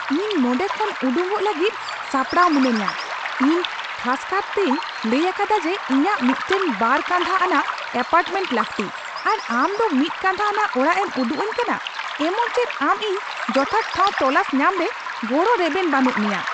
ᱤᱧ ᱱᱚᱸᱰᱮ ᱠᱷᱚᱱ ᱩᱰᱩᱠᱚᱜ ᱞᱟᱹᱜᱤᱫ ᱥᱟᱯᱲᱟᱣ ᱢᱤᱱᱟᱹᱧᱟ ᱾ᱤᱧ ᱠᱷᱟᱥᱠᱟᱨ ᱛᱤᱧ ᱞᱟᱹᱭ ᱟᱠᱟᱫᱟ ᱡᱮ ᱤᱧᱟᱹᱜ ᱢᱤᱫᱴᱟᱝ ᱵᱟᱨ ᱠᱟᱸᱫᱷᱟ ᱟᱱᱟᱜ ᱮᱹᱯᱟᱴᱨᱢᱮᱱᱴ ᱞᱟᱹᱠᱛᱤ ᱾ᱟᱨ ᱟᱢᱫᱚ ᱢᱤᱫ ᱠᱟᱸᱫᱷᱟ ᱟᱱᱟᱜ ᱚᱲᱟᱜ ᱮᱢ ᱩᱫᱩᱜᱼᱟᱹᱧ ᱠᱟᱱᱟ ᱾ᱮᱢᱚᱱ ᱪᱮᱫ ᱟᱢ ᱤᱧ ᱡᱚᱛᱷᱟᱛ ᱴᱷᱟᱶ ᱛᱚᱞᱟᱥ ᱧᱟᱢ ᱨᱮ ᱜᱚᱲᱚ ᱨᱮᱵᱮᱱ ᱵᱟᱹᱱᱩᱜ ᱢᱮᱭᱟ ᱾